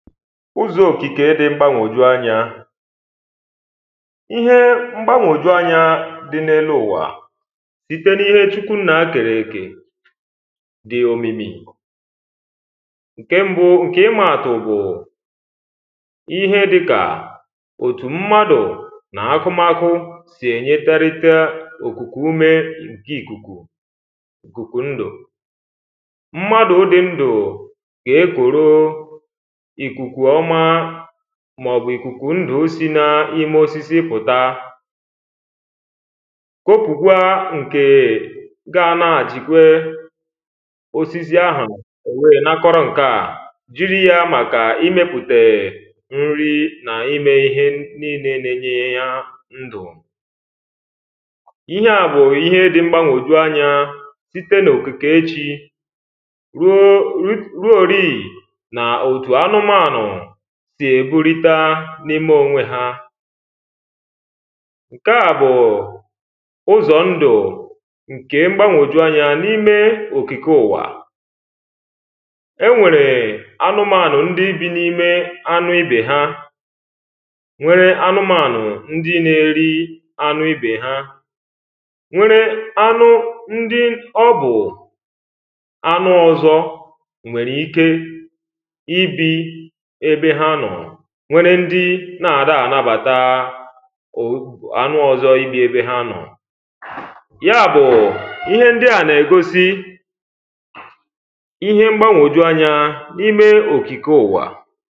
Ụ̀zọ okikē dị m̀gbaṅgojuanyá Ìhe m̀gbaṅgojuanyá di n’elu ụ̀wa Site n’ìhé chukwu nna kērēkē. di omìmì ṅ̀ké m̀bụ, ṅ̀ke imatụ̀ bụ̀ ìhé di ká otu mmádụ̀ ná-ákụmákụ̀ si enyeterita okuku ume ṅké ikuku okuku ṅdụ̀ mmádụ̀ di ṅdụ ékụrụ́ ị̀kūkū ọ̀ma mọ̀bụ̀ ị̀kūkū ṅdụ̀ si na-osịsị pụta Kpopukwa ṅke ga anaghchikwe osịsị àhụ o wee nakọrọ ṅkaa jiri ya màkà ị̀mepute ṅ̀ri na-ime ihé niile na-ēnyē yá ṅdụ̀ Ịhe a bụ ịhé di mgbaṅgojuanyá site n’okike chí Ruo ruo rịị na otu anụ̀manụ̀ dị eburita n’imē òṅwe ha. Káá bụ̀ ụ̀zọ ṅdụ̀ ṅkè m̀gbaṅgojuanyá n’imē okike ụ̀wa Eṅwerē ánụmanụ̀ ǹdi bi n’ime ánụ̀ ibe ha ṅwee anụ̀manụ̀ ǹdi na-eri anụ̀ ibe ha. ṅwere anụ̀ ǹdi ọ̀bụ̀ anụ̀ ọzọ ṅwere ìke ị̀bi ebē ha nọọ ṅwere ndi na-adighi anabata anụ̀ ọzọ ịbi ébē ha nọọ Ya bụ̀ ịhe ǹdi a na-egosi. Ịhé m̀gbaṅgojuanya n’imē okike ụ̀wa